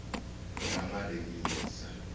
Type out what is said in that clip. ramaremisa